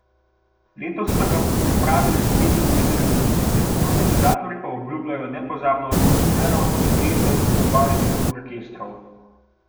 Letos so ga pripravili že petinpetdesetič, organizatorji pa obljubljajo nepozabno atmosfero in dvesto trubaških orkestrov.